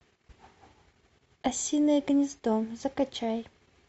осиное гнездо закачай